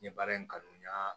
N ye baara in kanu n y'a